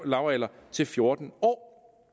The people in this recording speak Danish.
lavalder til fjorten år